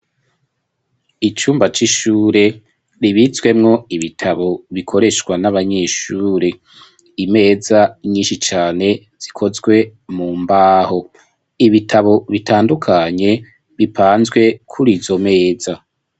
Icumba c'ishure ribitswemwo ibitabo bikoreshwa n'abanyeshure imeza nyinshi cane zikozwe mu mbaho ibitabo bitandukanye bipanzwe kurizo meza.